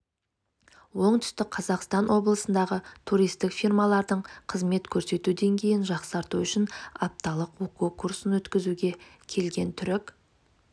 оңтүстік қазақстан облысындағы туристік фирмалардың қызмет көрсету деңгейін жақсарту үшін апталық оқу курсын өткізуге келген түрік